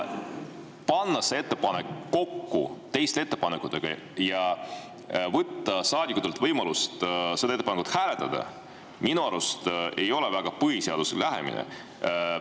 Panna see ettepanek kokku teiste ettepanekutega ja võtta saadikutelt võimalus seda ettepanekut hääletada – minu arust see ei ole põhiseadusest lähenemine.